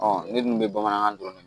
ne dun bɛ bamanankan dɔn